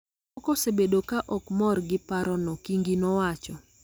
to moko osebedo ka ok mor gi parono, Kingi nowacho,